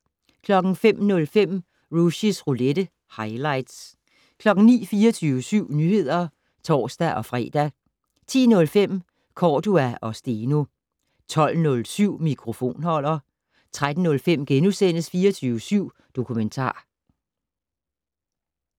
05:05: Rushys roulette - highlights 09:00: 24syv Nyheder (tor-fre) 10:05: Cordua & Steno 12:07: Mikrofonholder 13:05: 24syv Dokumentar *